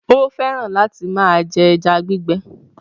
Ó fẹ́ràn láti máa jẹ ẹja gbígbẹ.